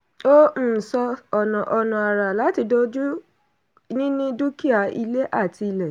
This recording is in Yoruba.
ó um sọ ọ̀nà ọ̀nà àrà láti kojú níní dúkìá ilé àti ilẹ̀.